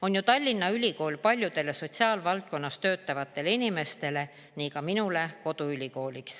On ju Tallinna Ülikool paljude sotsiaalvaldkonnas töötavate inimeste – nii ka minu – koduülikool.